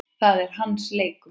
Það er hans leikur.